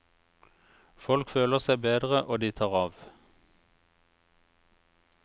Folk føler seg bedre og de tar av.